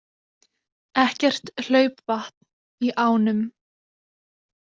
Ekkert hlaupvatn í ánum